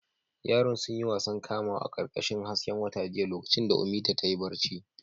Yaran sun yi wasan kamawa a ƙarƙashin hasken wata jiya lokacin da Ummita ta yi barci.